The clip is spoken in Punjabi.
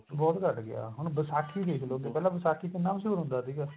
ਬਹੁਤ ਘੱਟ ਗਿਆ ਹੁਣ ਵਿਸਾਖੀ ਦੇਖਲੋ ਜੀ ਪਹਿਲਾਂ ਵਿਸਾਖੀ ਕਿੰਨਾ ਮਸ਼ਹੂਰ ਹੁੰਦਾ ਸੀਗਾ